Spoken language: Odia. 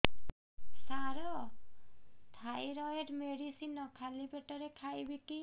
ସାର ଥାଇରଏଡ଼ ମେଡିସିନ ଖାଲି ପେଟରେ ଖାଇବି କି